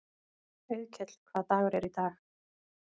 Auðkell, hvaða dagur er í dag?